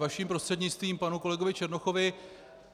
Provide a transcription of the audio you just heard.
Vaším prostřednictvím panu kolegovi Černochovi.